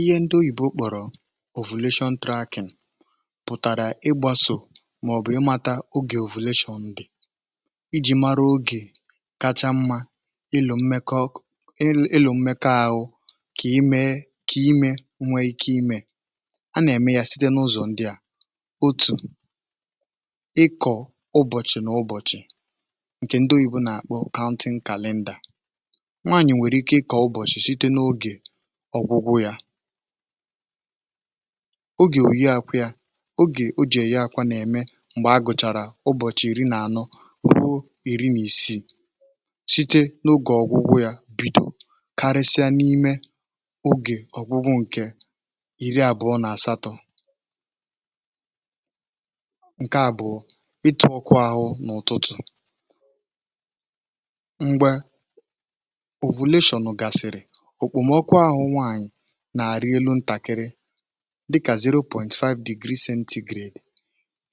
Ihe ndị oyibo kpọrọ̀ ovulation tracking pụ̀tàrà ịgbȧsò, màọ̀bụ̀ ịmȧta ogè ovulation ndị iji̇ mara ogè kacha mmȧ ịlụ̇ mmekọ ọk, ịlụ̇ mmekọ ȧhụ̇ kà ime, kà ime nwee ike imė a nà-ème ya site n’ụzọ̀ ndị à otu, um ịkọ̀ ụbọ̀chị̀ nà ụbọ̀chị̀ ǹkè ndị oyibo nà-àkpọ counseling calendar, ọ̀gwụgwụ yȧ oge ò ya akwụ, ya oge o jì èye akwȧ nà-ème, m̀gbè a gùchàrà ụbọ̀chị̀ ìri nà ànọ ruo ìri nà ìsii, site n’ogè ọ̀gwụgwụ yȧ bìdò, karịsịa n’ime ogè ọ̀gwụgwụ ǹkè iri àbụọ nà àsatọ̇, ǹke àbụ̀ọ ịtụ̇ ọkụ ahụ n’ụ̀tụtụ̀ nà-àrị elu̇ ntàkịrị, dịkà zero pọ̀ntịtwa five degree degree,